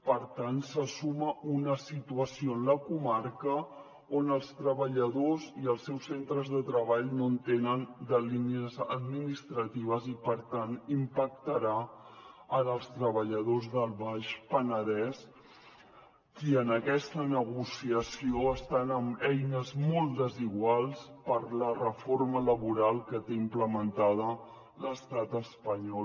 per tant se suma una situació en la comarca on els treballadors i els seus centres de treball no entenen de línies administratives i per tant impactarà en els treballadors del baix penedès qui en aquesta negociació estan amb eines molt desiguals per a la reforma laboral que té implementada l’estat espanyol